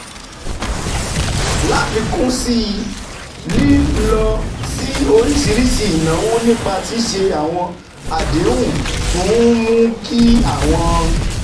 Láfikún sí i, lílọ sí oríṣiríṣi ìnáwó nípa ṣíṣe àwọn àdéhùn tún ń mú kí àwọn